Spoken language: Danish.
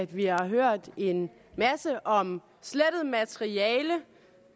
vi har hørt en masse om slettet materiale